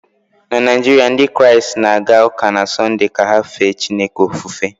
na Naijiria, Ndị Kraịst na-aga ụka na Sọnde ka ha fee Chineke ofufe